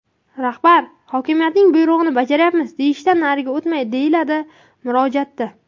Rahbar hokimiyatning buyrug‘ini bajaryapmiz, deyishdan nariga o‘tmaydi, deyiladi murojaatda.